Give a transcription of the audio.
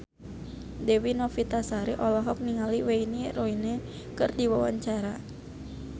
Dewi Novitasari olohok ningali Wayne Rooney keur diwawancara